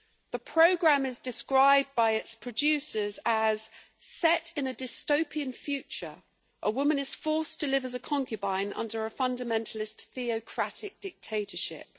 The programme is described by its producers as set in a dystopian future, a woman is forced to live as a concubine under a fundamentalist theocratic dictatorship'.